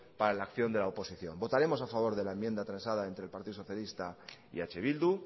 para la acción de la oposición votaremos a favor de la enmienda transada entre el partido socialista y eh bildu